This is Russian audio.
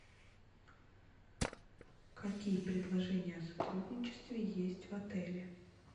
какие предложения о сотрудничестве есть в отеле